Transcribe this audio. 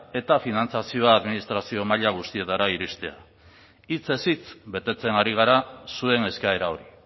eta finantziazioa administrazio maila guztietara iristea hitzez hitz betetzen ari gara zuen eskaera hori